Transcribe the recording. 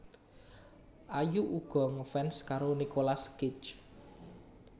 Ayu uga ngefans karo Nicolas Cage